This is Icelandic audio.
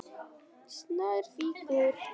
Snær fýkur.